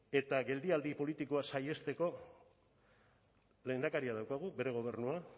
eta geldialdi politikoa saihesteko lehendakaria daukagu bere gobernua